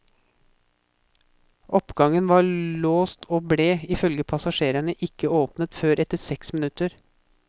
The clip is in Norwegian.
Oppgangen var låst og ble, ifølge passasjerene, ikke åpnet før etter seks minutter.